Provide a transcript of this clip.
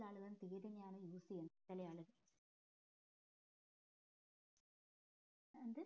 ചെല ആളുകൾ തീര് തന്നെയാണ് use ചെയ്യുന്നേ ചെല ആള്